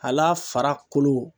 Al'a fara kolo.